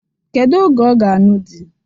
Kedu oge ọ ga-ańụ di?